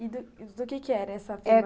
E do do que era essa?